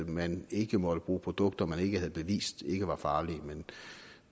at man ikke måtte bruge produkter man ikke havde bevist ikke var farlige men